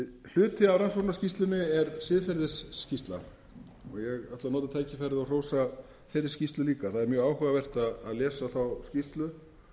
hluti af rannsóknarskýrslunni er siðferðisskýrsla og ég ætla að nota tækifærið og hrósa þeirri skýrslu líka það er mjög áhugavert að lesa þá skýrslu